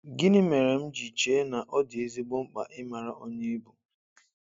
Gịnị mere m ji chee na ọ dị ezigbo mkpa ịmara onye ị bụ?